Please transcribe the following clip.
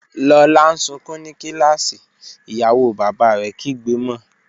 Lola n sunkun ni kilasi, iyawo baba rẹ kigbe mo.